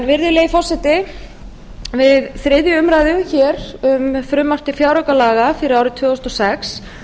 virðulegi forseti við þriðju umræðu um frumvarp til fjáraukalaga fyrir árið tvö þúsund og sex